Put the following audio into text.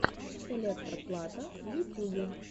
электро плата в ютюбе